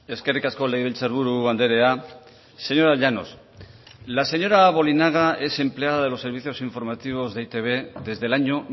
eskerrik asko legebiltzarburu andrea señora llanos la señora bolinaga es empleada de los servicios informativos de e i te be desde el año